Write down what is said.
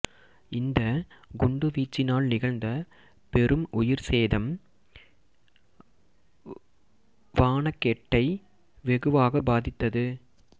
இந்த குண்டுவீச்சினால் நிகழ்ந்த பெரும் உயிர்ச்சேதம் வானெகெட்டை வெகுவாகப் பாதித்தது